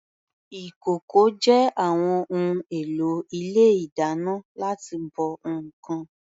Ìkòkò jẹ́ àwọn ohun èlò ilé ìdáná láti bọ ǹkan.